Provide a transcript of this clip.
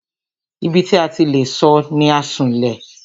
Ibi tí a ti le sọ̀ ni Asunlẹ̀.